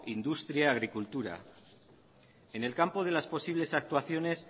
industria y agricultura en el campo de las posibles actuaciones